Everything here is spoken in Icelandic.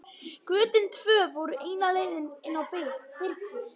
Götin tvö voru eina leiðin inn í byrgið.